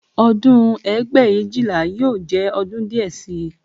Ọdún ẹgbẹ̀éjìlá yóò jẹ́ ọdún díẹ̀ sí i